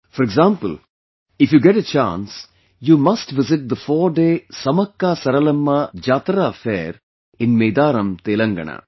For example, if you get a chance, you must visit the fourday SamakkaSaralamma Jatara Fair in Medaram, Telangana